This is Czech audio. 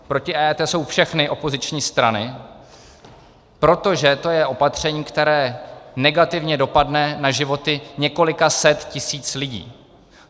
Proti EET jsou všechny opoziční strany, protože to je opatření, které negativně dopadne na životy několika set tisíc lidí.